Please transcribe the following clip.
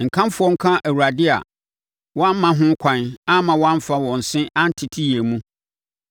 Nkamfoɔ nka Awurade a wɔamma ho kwan amma wɔamfa wɔn se antete yɛn mu.